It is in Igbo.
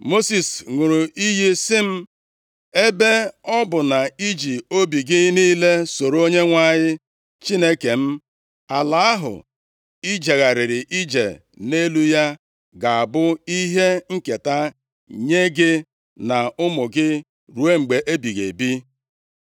Mosis ṅụrụ iyi sị m, ‘Ebe ọ bụ na i ji obi gị niile soro Onyenwe anyị Chineke m, ala ahụ i jegharịrị ije nʼelu ya ga-abụ ihe nketa nye gị na ụmụ gị ruo mgbe ebighị ebi.’